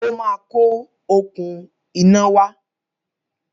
Ó ma kó òkun iná wá